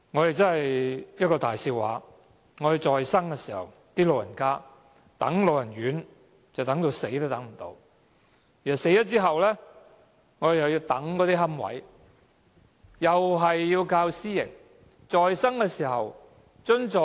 這真是一個大笑話，長者在生時輪候長者院舍，直到過世也無法入住，而去世後又要輪候龕位，又是要依靠私營機構。